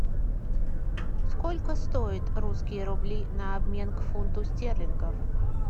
сколько стоит русские рубли на обмен к фунту стерлингов